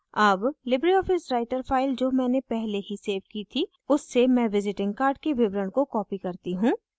अब libreoffice writer file जो मैंने पहले ही सेव की थी उससे मैं visiting card के विवरण को copy करती हूँ